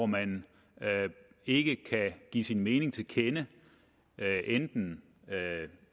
man ikke kan give sin mening til kende enten